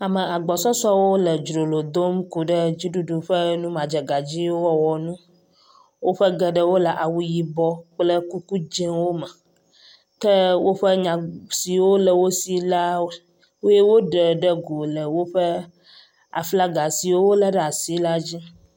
Ame agbɔsɔsɔwo le dzrolo dom ku ɖe dziɖuɖu ƒe nu madzegadziwo wɔwɔ ŋu. Woƒe geɖewo le awu yibɔ kple kuku dziwo me. Ke woƒe nya siwo le wo si la woe woɖe ɖe go le woƒe aflaga si wole ɖe asi la dzi.